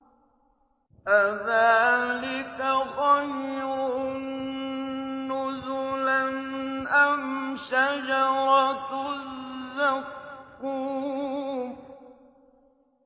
أَذَٰلِكَ خَيْرٌ نُّزُلًا أَمْ شَجَرَةُ الزَّقُّومِ